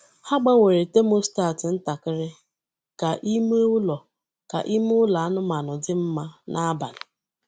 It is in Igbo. Ha gbanwere thermostat ntakịrị ka ime ụlọ ka ime ụlọ anụmanụ dị mma n’abalị.